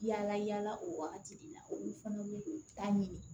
Yala yala o wagati de la olu fana bɛ don ta ɲini